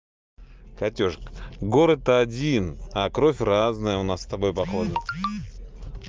катюшка город один а кровь разная у нас с тобой похоже